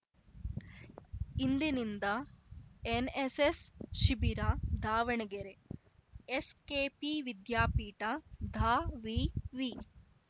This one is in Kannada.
ಇಂದಿನಿಂದ ಎನ್ನೆಸ್ಸೆಸ್‌ ಶಿಬಿರ ದಾವಣಗೆರೆ ಎಸ್‌ಕೆಪಿ ವಿದ್ಯಾಪೀಠ ದಾವಿವಿ